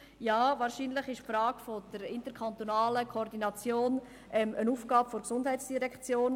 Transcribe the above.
ja, wahrscheinlich ist die Frage der interkantonalen Koordination eine Aufgabe der GEF.